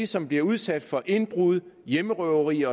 som bliver udsat for indbrud hjemmerøverier